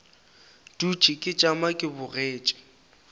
dutše ke tšama ke bogetše